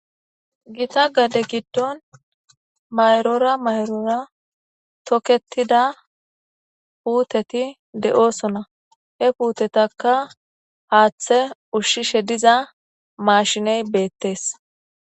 Giita gade giidon mayrora mayrora tokketida puuteti de'osona he puutetaka haththa ushshishe diiza mashshiney bettes.